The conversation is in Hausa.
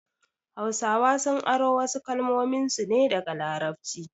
Hausawa sun aro wasu kalmominsu ne daga larabci